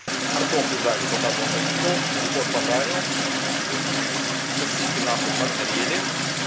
картошку жарю только вот закинул лучек пожарил сосиски на хуй подгорели